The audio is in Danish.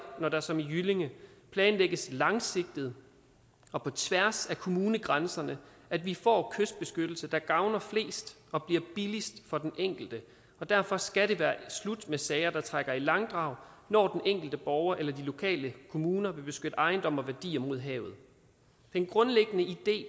når der som i jyllinge planlægges langsigtet og på tværs af kommunegrænserne at vi får kystbeskyttelse der gavner flest og bliver billigst for den enkelte derfor skal det være slut med sager der trækker i langdrag når den enkelte borger eller de lokale kommuner vil beskytte ejendom og værdier mod havet den grundlæggende idé